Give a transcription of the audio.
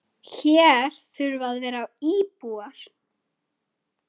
Hér þurfa að vera íbúar.